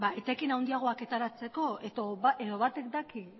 etekin handiagoak ateratzeko edo batek daki